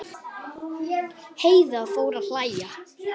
Heiða fór að hlæja.